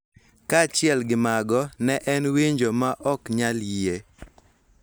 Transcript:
Kaachiel gi mago, ne en winjo ma ok nyal yie.